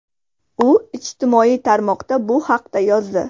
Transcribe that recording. U ijtimoiy tarmoqda bu haqda yozdi.